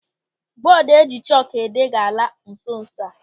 Bọọdu eji chọkụ ede ga-ala nso nso a.